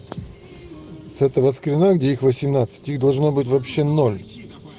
с этого скрина где их восемнадцать их должно быть вообще ноль